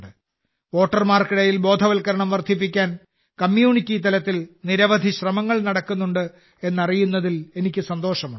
വോട്ടർമാർക്കിടയിൽ ബോധവൽക്കരണം വർധിപ്പിക്കാൻ കമ്മ്യൂണിറ്റി തലത്തിൽ നിരവധി ശ്രമങ്ങൾ നടക്കുന്നുണ്ട് എന്നറിയുന്നതിൽ എനിക്ക് സന്തോഷമുണ്ട്